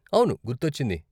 అవును, గుర్తొచ్చింది.